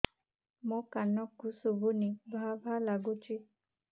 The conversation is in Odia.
ମୋ କାନକୁ ଶୁଭୁନି ଭା ଭା ଲାଗୁଚି